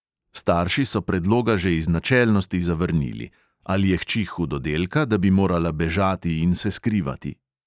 Starši so predloga že iz načelnosti zavrnili: ali je hči hudodelka, da bi morala bežati in se skrivati?